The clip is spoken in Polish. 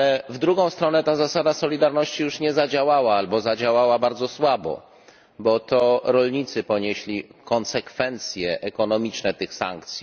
W drugą stronę ta zasada solidarności już nie zadziałała albo zadziałała bardzo słabo, bo to rolnicy ponieśli konsekwencje ekonomiczne tych sankcji.